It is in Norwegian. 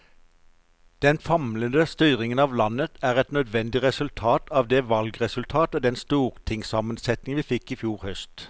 Den famlende styringen av landet er et nødvendig resultat av det valgresultat og den stortingssammensetning vi fikk i fjor høst.